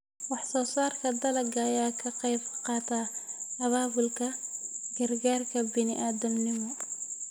Wax-soo-saarka dalagga ayaa ka qayb qaata abaabulka gargaarka bini'aadminimo.